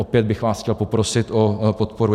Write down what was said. Opět bych vás chtěl poprosit o podporu.